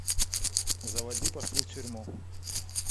заводи пошли в тюрьму